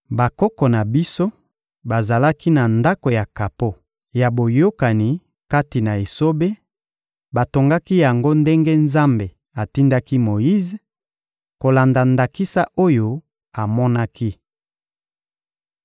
Bakoko na biso bazalaki na Ndako ya kapo ya Boyokani kati na esobe, batongaki yango ndenge Nzambe atindaki Moyize, kolanda ndakisa oyo amonaki.